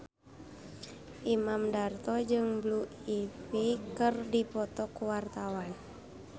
Imam Darto jeung Blue Ivy keur dipoto ku wartawan